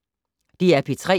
DR P3